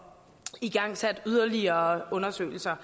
igangsat yderligere undersøgelser